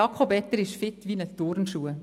Jakob Etter ist «fit wie ein Turnschuh».